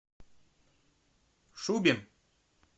шубин